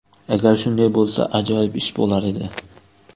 Agar shunday bo‘lsa, ajoyib ish bo‘lar edi.